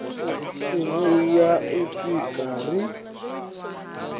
u vhuya u swika ri